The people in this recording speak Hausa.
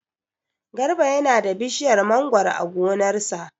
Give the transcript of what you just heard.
Garba yana da bishiyar mangoro a gonar sa.